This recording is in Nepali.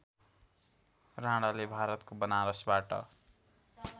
राणाले भारतको बनारसबाट